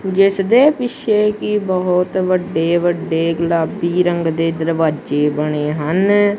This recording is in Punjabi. ਜਿੱਸ ਦੇ ਪਿੱਛੇ ਕੀ ਬਹੁਤ ਵੱਡੇ ਵੱਡੇ ਗੁਲਾਬੀ ਰੰਗ ਦੇ ਦਰਵਾਜੇ ਬਣੇ ਹਨ।